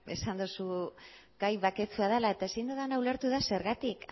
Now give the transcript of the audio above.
esan duzu gai baketsua dela eta ezin dudana ulertu da zergatik